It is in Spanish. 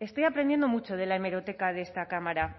estoy aprendiendo mucho de la hemeroteca de esta cámara